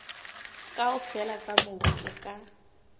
kaofela tsa mobu o ka